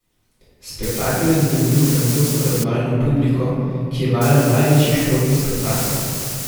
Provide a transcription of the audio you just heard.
Spektakel je zadovoljil francosko razvajeno publiko, ki je vajena največjih športnih spektaklov.